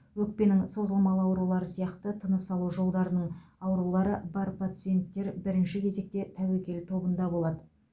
өкпенің созылмалы аурулары сияқты тыныс алу жолдарының аурулары бар пациенттер бірінші кезекте тәуекел тобында болады